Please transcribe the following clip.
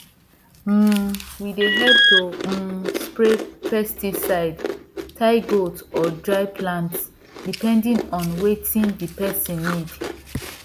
um we dey help to um spray pesticide tie goat or dry plant depending on wetin d person need